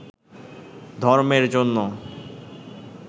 ধর্মের জন্য